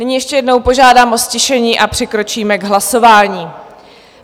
Nyní ještě jednou požádám o ztišení a přikročíme k hlasování.